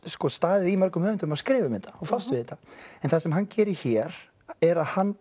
staðið í mörgum höfundum að skrifa um þetta og fást við þetta en það sem hann gerir hér er að hann